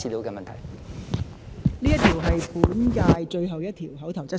這是本屆立法會最後一項口頭質詢。